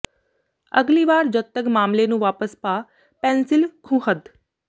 ਅਗਲੀ ਵਾਰ ਜਦ ਤੱਕ ਮਾਮਲੇ ਨੂੰ ਵਾਪਸ ਪਾ ਪੈਨਸਿਲ ਖੂੰਹਦ